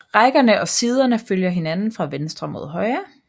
Rækkerne og siderne følger hinanden fra venstre mod højre